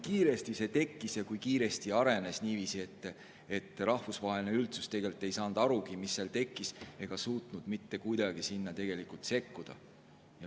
See tekkis ja arenes nii kiiresti, et rahvusvaheline üldsus ei saanud arugi, mis seal tekkis, ega suutnud mitte kuidagi sinna sekkuda.